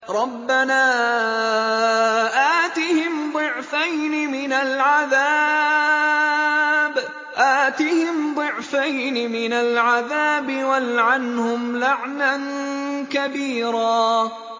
رَبَّنَا آتِهِمْ ضِعْفَيْنِ مِنَ الْعَذَابِ وَالْعَنْهُمْ لَعْنًا كَبِيرًا